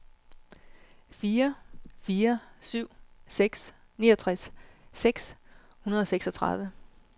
fire fire syv seks niogtres seks hundrede og seksogtredive